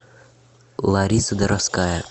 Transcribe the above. лариса доровская